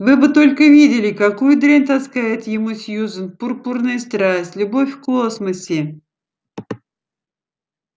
вы бы только видели какую дрянь таскает ему сьюзен пурпурная страсть любовь в космосе